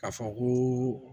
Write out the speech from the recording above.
K'a fɔ ko